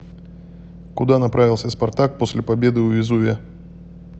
куда направился спартак после победы у везувия